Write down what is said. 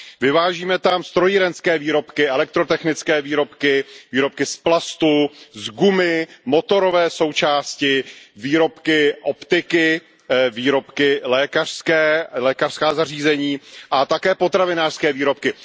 Vyvážíme tam strojírenské výrobky, elektrotechnické výrobky, výrobky z plastu, z gumy, motorové součásti, výrobky optiky, výrobky lékařské, lékařská zařízení a také potravinářské výrobky.